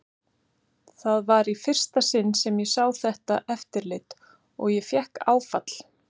Það var í fyrsta sinn sem ég sá þetta eftirlit og ég fékk áfall.